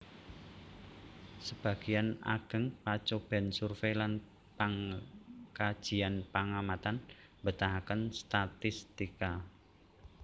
Sebagéyan ageng pacobèn survey lan pangkajian pangamatan mbetahaken statistika